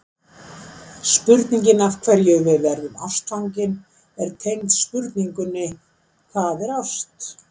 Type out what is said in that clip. Spurningin af hverju við verðum ástfangin er tengd spurningunni Hvað er ást?